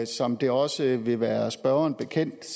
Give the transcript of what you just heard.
som det også vil være spørgeren bekendt